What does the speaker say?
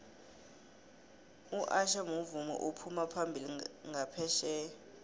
usher muvumi ophuma phambili nqaphetjheya